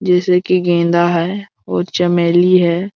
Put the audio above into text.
जैसे की गेंदा है और चमेली हैं।